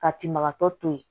Ka tinbagatɔ to ye